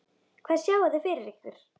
Hvað sjáið þið fyrir ykkur?